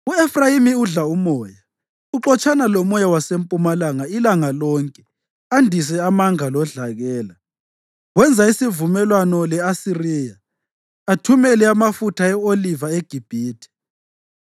U-Efrayimi udla umoya; uxotshana lomoya wasempumalanga ilanga lonke andise amanga lodlakela. Wenza isivumelwano le-Asiriya, athumele amafutha e-oliva eGibhithe.